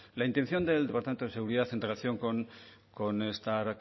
la intención del departamento de seguridad en relación con estas